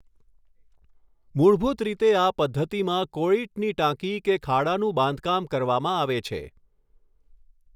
મૂળભૂત રીતે આ પદ્ધતિમાં કૉળીટની ટાંકી કે ખાડાનું બાંધકામ કરવામાં આવે છે.